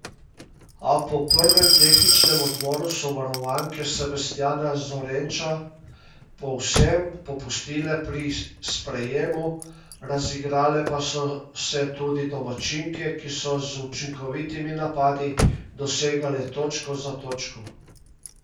A po prvem tehničnem odmoru so varovanke Sebastjana Zorenča povsem popustile pri sprejemu, razigrale pa so se tudi domačinke, ki so z učinkovitimi napadi dosegale točko za točko.